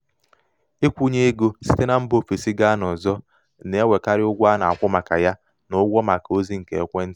ịkwụnye ego site na mba ofesi gaa n'ọzọ na-enwekarị ụgwọ a na-akwụ maka ya ya na ụgwọ maka ozị nke ekwentị.